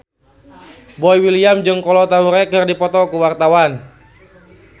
Boy William jeung Kolo Taure keur dipoto ku wartawan